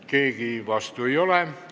Keegi vastu ei ole.